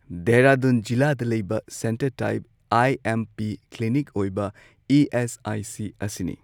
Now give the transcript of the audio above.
ꯙꯦꯔꯥꯗꯨꯟ ꯖꯤꯂꯥꯗ ꯂꯩꯕ centre type I M P clinic ꯑꯣꯏꯕ ꯏ ꯑꯦꯁ ꯑꯥꯏ ꯁꯤ ꯑꯁꯤꯅꯤ꯫